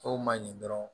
Dɔw ma ɲi dɔrɔn